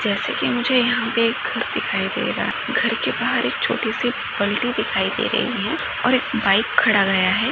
जैसे कि मुझे यहाँ पे एक घर दिखाई दे रहा घर के बहार एक छोटी सी बल्टी दिखाई दे रही है और बाइक खड़ा गया है।